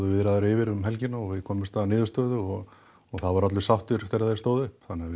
viðræður yfir um helgina og við komumst að niðurstöðu og það voru allir sáttir þegar við stóðum upp þannig að